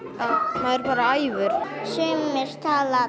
maður bara æfir sumir tala